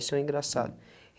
Isso é engraçado. Hum